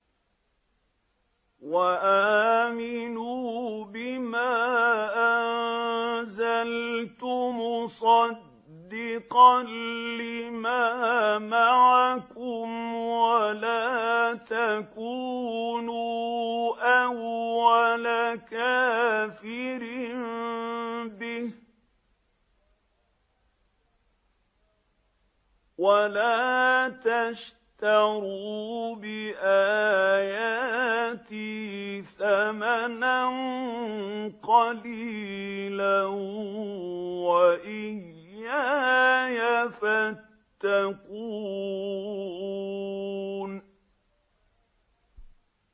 وَآمِنُوا بِمَا أَنزَلْتُ مُصَدِّقًا لِّمَا مَعَكُمْ وَلَا تَكُونُوا أَوَّلَ كَافِرٍ بِهِ ۖ وَلَا تَشْتَرُوا بِآيَاتِي ثَمَنًا قَلِيلًا وَإِيَّايَ فَاتَّقُونِ